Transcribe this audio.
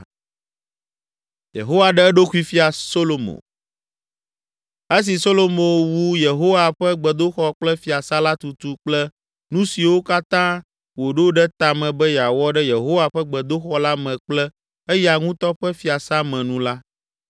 Esi Solomo wu Yehowa ƒe gbedoxɔ kple fiasã la tutu kple nu siwo katã wòɖo ɖe ta me be yeawɔ ɖe Yehowa ƒe gbedoxɔ la me kple eya ŋutɔ ƒe fiasã me nu la,